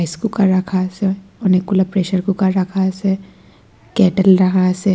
ইস্কুকার রাখা আসে অনেকগুলো প্রেসার কুকার রাখা আসে কেঁটেল রাখা আছে।